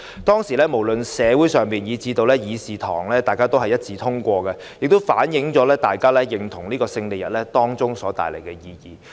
當時，不論在社會或議事堂也是一致支持，反映大家認同抗戰勝利日帶來的意義。